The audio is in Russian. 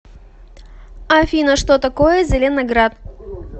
афина что такое зеленоград